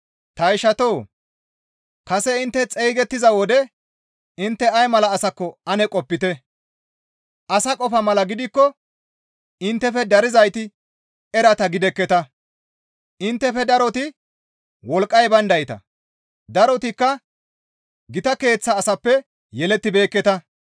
Ta ishatoo! Kase intte xeygettiza wode intte ay mala asakko ane qopite; asa qofa mala gidikko inttefe darizayti erata gidekketa. Inttefe daroti wolqqay bayndayta; darotikka gita keeththa asappe yelettibeekketa.